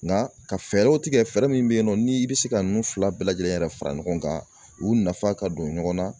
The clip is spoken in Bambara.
Nka ka fɛɛrɛw tigɛ fɛɛrɛ min bɛ yen nɔ ni i bɛ se ka ninnu fila bɛɛ lajɛlen yɛrɛ fara ɲɔgɔn kan u nafa ka don ɲɔgɔn na.